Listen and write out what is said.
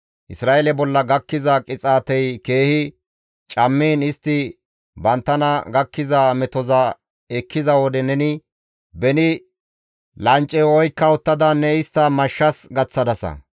« ‹Isra7eeleta bolla gakkiza qixaatey keehi cammiin istti banttana gakkiza metoza ekkiza wode neni beni lancceyo oykka uttada ne istta mashshas gaththadasa.